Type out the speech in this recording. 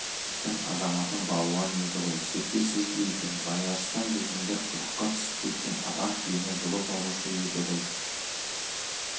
шіркін азаматым балуан еді ғой серке сөз бе екен байарыстан дегендер құдыққа түсіп кеткен атан түйені жұлып алушы еді ғой